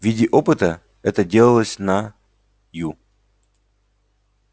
в виде опыта это делалось на ю